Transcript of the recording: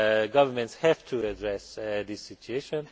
governments have to address these situations.